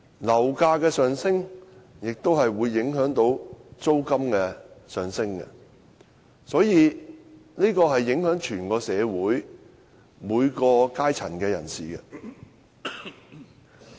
樓價上升也會影響租金上升，會影響整體社會每個階層的人士。